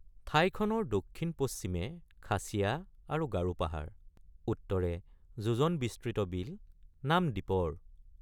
ঠাইখনৰ দক্ষিণপশ্চিমে খাচীয়া আৰু গাৰোপাহাৰ উত্তৰে যোজনবিস্তৃত বিল—নাম দীপৰ ।